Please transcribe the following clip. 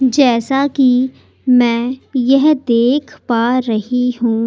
जैसा कि मैं यह देख पा रही हूं।